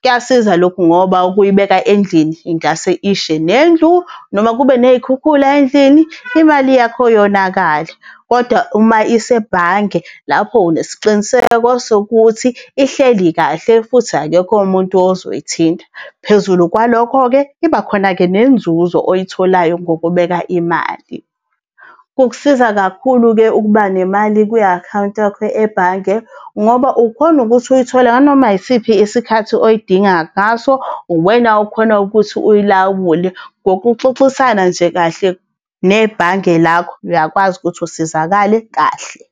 Kuyasiza lokho ngoba ukuyibeka endlini ingase ishe nendlu, noma kube ney'khukhula endlini, imali yakho yonakale, kodwa uma isebhange lapho unesiqiniseko sokuthi ihleli kahle futhi akekho umuntu ozoyithinta. Phezulu kwalokho-ke iba khona-ke nenzuzo oyitholayo ngokubeka imali. Kukusiza kakhulu-ke ukuba nema kwi-akhawunti yakho ebhange ngoba ukhona ukuthi uyithole nganoma yisiphi isikhathi oyidingayo ngaso, uwena okhona ukuthi uyilawule ngokuxoxisana nje kahle nebhange lakho, uyakwazi ukuthi usizakale kahle.